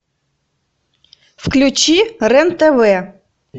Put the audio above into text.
включи рен тв